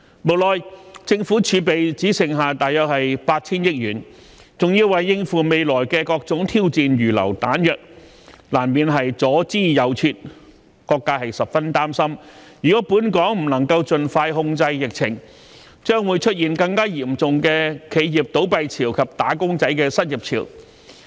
無奈政府儲備只剩下約 8,000 億元，還要為應付未來的各種挑戰預留彈藥，難免左支右絀，各界十分擔心，如果本港不能盡快控制疫情，將會出現更嚴重的企業倒閉潮及"打工仔"失業潮。